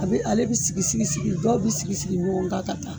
Ale bi sigi sigi sigi dɔw bi sigi sigi ɲɔn gan ka taa